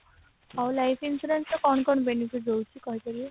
ଆଉ life insurance ର କଣ କଣ benefit ରହୁଛି କହିପାରିବେ